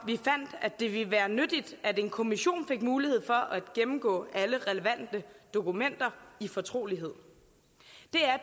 at det ville være nyttigt at en kommission fik mulighed for at gennemgå alle relevante dokumenter i fortrolighed